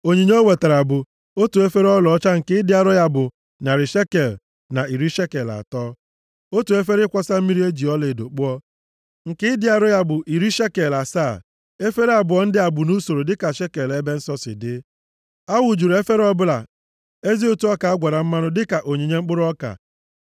Onyinye o wetara bụ: otu efere ọlaọcha nke ịdị arọ ya bụ narị shekel na iri shekel atọ, na otu efere ịkwọsa mmiri e ji ọlaedo kpụọ, nke ịdị arọ ya bụ iri shekel asaa, efere abụọ ndị a bụ nʼusoro dịka shekel ebe nsọ si dị. A wụjuru efere ọbụla ezi ụtụ ọka a gwara mmanụ dịka onyinye mkpụrụ ọka.